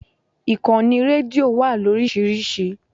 Ìkànnì rédíò wà lórísìíríìsí.